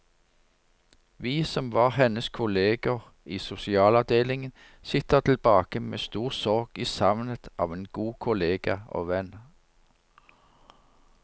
Vi som var hennes kolleger i sosialavdelingen, sitter tilbake med stor sorg i savnet av en god kollega og venn.